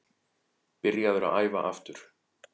Byrjaður að æfa aftur.